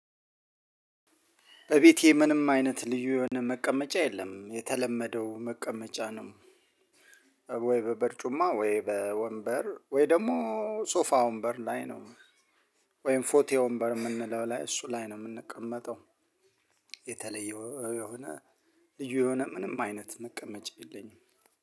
እቤቴ ምንም አይነት ልዩ የሆነ መቀመጫ የለም የተለመደው መቀመጫ ነው። ወይ በበርጩማ ወይ በወንበር ወይ ደግሞ ሶፋ ወንበር ላይ ነው። ወይም ፎቴ ወንበር የምንለው ላይ እሱ ላይ ነው የምንቀመጠው። የተለየ የሆነ ልዩ የሆነ ምንም አይነት መቀመጫ የለኝም።